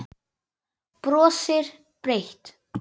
Brosir breitt.